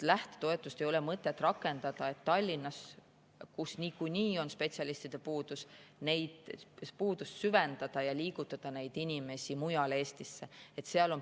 Lähtetoetust ei ole mõtet rakendada nii, et Tallinnas, kus niikuinii on spetsialistide puudus, seda puudust süvendada ja liigutada neid inimesi mujale Eestisse.